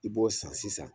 I b'o san sisan